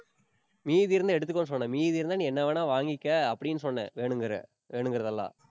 மீதி இருந்தா எடுத்துக்கோன்னு சொன்னேன். மீதி இருந்தா நீ என்ன வேணா வாங்கிக்க அப்படின்னு சொன்னேன் வேணுங்கிற~ வேணுங்கிறது எல்லாம்